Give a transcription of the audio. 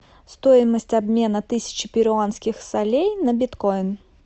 стоимость обмена тысячи перуанских солей на биткоин